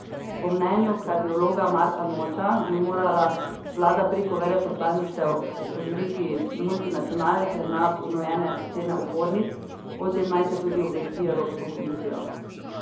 Po mnenju kardiologa Marka Noča bi morala vlada preko veleposlaništev opozoriti multinacionalke na ponujene cene opornic, o tem naj se tudi obvesti Evropsko komisijo.